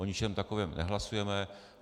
O ničem takovém nehlasujeme.